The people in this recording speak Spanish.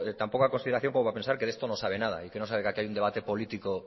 tan poca consideración como para pensar que de esto no sabe nada y que no sabe que aquí hay un debate político